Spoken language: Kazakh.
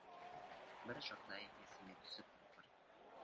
бір жағдай есіме түсіп отыр